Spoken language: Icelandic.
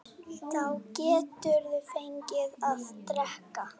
Þá geturðu fengið að drekka.